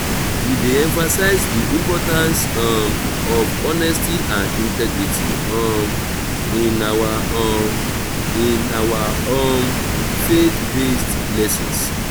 we dey emphasize the importance um of honesty and integrity um in our um in our um faith-based lessons.